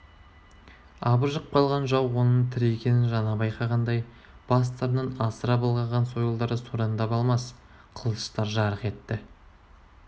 абыржып қалған жау оның тірі екенін жаңа байқағандай бастарынан асыра былғаған сойылдары сораңдап алмас қылыштар жарқ етті